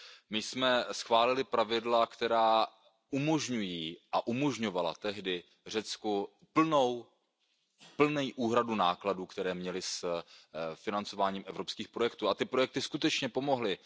My jsme schválili pravidla, která umožňují a umožňovala tehdy Řecku plnou úhradu nákladů, které měli s financováním evropských projektů, a ty projekty skutečně pomohly.